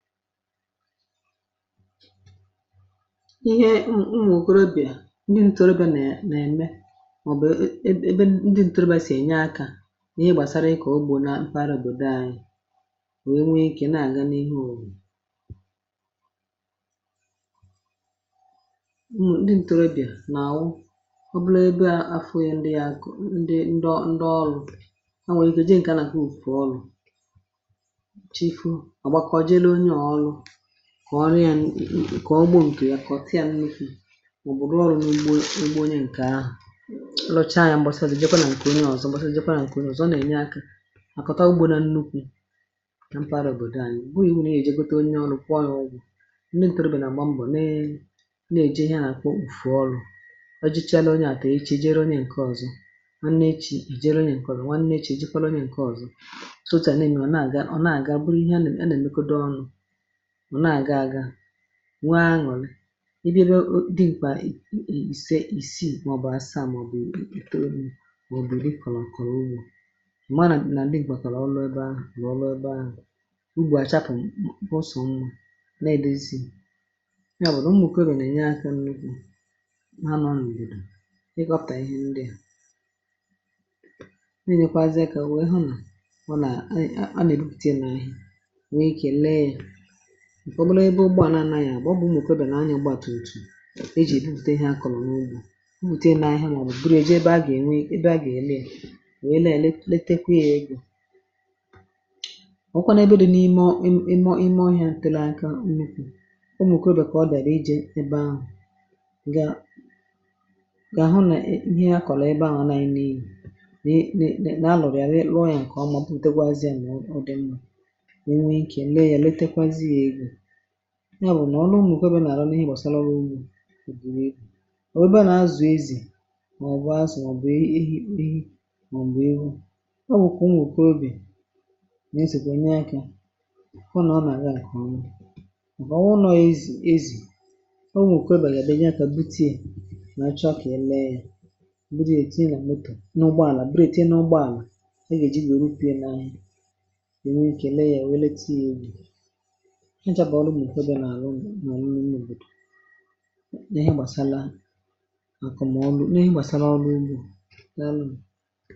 ihe n’unwụ̀ òkorobịà eh ndị ntorobịà nà ème um màọ̀bụ̀ ebe ndị ntorobịà sì ènye akȧ n’ihe gbàsara ịkọ̀ ogbò na mpà rògbo anyị nwèe nwee ikė na-àga n’ihe òlù nwè ah ndị ntorobịà nà-àwụ ọ bụrụ ebe à afọ yȧ ndị yȧ àkọ um ndị ndi ọ eh ndi ọlụ̇ a nwèrè ike jị ǹkè àlàhò fòrọlụ̀ kwọ̀ ọrụ yȧ n ị kọ̀ọ ugbȯ ǹkè ya kọ̀ tiiȧ nnukwu̇ mà ọ̀ bụ̀ rụọ ọrụ̇ n’ugbo ugbo um onye ǹkè ahụ̀ lọchaa anyȧ mgbasalị̀ eh jẹkwa nà ǹkè onye ọzọ̇ mgbasalị̀ jẹkwa nà ǹkè ọzọ̇ ọ nà-ènye akȧ à kọ̀ta ugbȯ nà nnukwu̇ kà mpaghara òbòdo ȧnị̇ ùkwe ihu̇ nà è jegyegote um onye ọrụ̇ kwọ ọrụ̇ ọgwụ̇ eh ndị ǹtòròbè nà àgba mbọ̀ ne ne è jee ihe a nà-àkwọ ụ̀fù ọrụ̇ ah ọ jichaa onye àtà e chejere onye ǹkè ọzọ̇ a nà-echì ì jere onye ǹkè ọzọ̇ um nwa nà e chejere onye ǹkè ọzọ̇ e jikwara onye ǹkè ọzọ̇ sòtà eh n’enyo a nà-àga ọ nà-àga bụrụ ihe a nà-àga è mekodo ọrụ nwa aṅụ̀rị ah i dirò dị mkpà i ise isì màọbụ̀ asamọ̀bụ̀ ìtoo nù mà òbòdò ị kọ̀lọ̀ àkọ̀rọ̀ ugbȯ mà nà m̀madụ̀ nà digbàtàlà ọlụ̇ um ebe ahụ̀ lọọlụ̇ ebe ahụ̀ ugbȯ à chapụ̀ mkpọsọ̀ mmȧ eh na-èdòzi ya bụ̀ nà mmòke lọ̀ nà-ènye akȧ n’ugbȯ ha nọọ n’ìrì ị kọ̇pà ihe ndị à na-èlekwazịa kà o wee hụ ah nà bụ̀ nà a nà-èlupùti n’eri ǹkẹ̀ ọ bụ um nà ebe ugbȧ n’anȧ ya bụ̀ ọ bụ̀ ụmụ̀kwẹbẹ̀ nà anya gbàtùrù òtù e jì èbute ihe akọ̀lọ̀ n’ugbȯ mwùte nà ahịhịa nà eh ọ bụ̀ bụ̀rụ̀ eji ebe a gà ènwe ebe a gà ène ah wee lelee letekwee egȯ ọ̀kwụkwȧ na ebe dị n’ime ọ ime ọhịȧ à tèle akȧ mmukwè um umùkwẹ̀rẹ̀ kà ọ dàla i jèe ebe ahụ̀ gà gà hụ nà ihe a kọ̀lọ̀ ebe ahụ̀ nà eghi nà elu̇ nà anọ̀rị à lọ̀rị à lọ̀ ya eh ǹkà ọma butekwazịà mụ̀ ọ dị̀ mma ah ya bụ̀ nà ọ na ụmụ̀ òkèbe nà-àrọ n’ịgbọ̀sàlaro ugbȯ òdì n’egbù ọ̀ wụ̀ egbė nà-azụ̀ ezì mà ọ̀ bụa azụ̀ um mà ọ̀ bụ̀ ehi̇ mà ọ̀ bụ̀ ihe ɪ́ hihi̇ eh mà ọ̀ bụ̀ ihu̇ ọ wụ̀kwà ụmụ̀ òkèbe nà-ezè kà enye akȧ ọ nà ọ nà-àga n’àkọ̀ọ̀ mụ ah mà ọ̀ wụrụ nọọ̇ ezì ezì ọ nà òkèbe yà dee nyakȧ butie eh mà chọkị̀ ele yȧ buti um è tinà m̀tụ̀ n’ụgbọàlà buti è tinà ụgbọàlà a gà-ejì bèe ji wère rupie n’ahịa ònwe ìkè lee yȧ nwe leta ah ya egbì mà ọlụ ụlọ̀ dị̀ ihe gbàsala àkụ̀ um mà ọ bụ̀ nà ị gbàsala ọlụ ụlọ̀ nȧȧ nȧȧ.